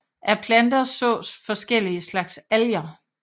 Af planter sås forskellige slags alger